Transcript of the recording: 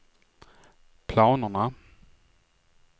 planerna